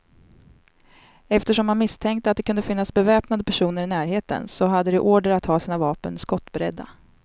Eftersom man misstänkte att det kunde finnas beväpnade personer i närheten, så hade de order att ha sina vapen skottberedda.